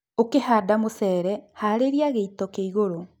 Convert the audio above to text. Ũkĩhanda mũcere, harĩlĩa gĩito kĩ igũrũ